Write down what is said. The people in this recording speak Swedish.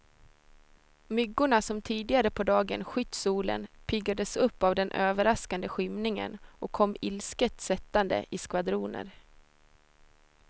Myggorna som tidigare på dagen skytt solen, piggades upp av den överraskande skymningen och kom ilsket sättande i skvadroner.